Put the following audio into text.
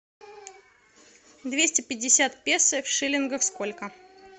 двести пятьдесят песо в шиллингах сколько